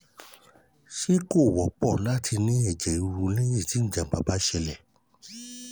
ṣé ko won po lati ní ẹ̀jẹ̀ riru lẹ́yìn tí jàǹbá bá ṣẹlẹ̀?